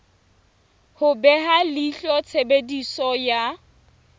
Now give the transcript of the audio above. ho beha leihlo tshebediso ya